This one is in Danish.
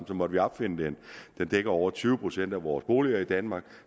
så måtte vi opfinde den den dækker over tyve procent af vores boliger i danmark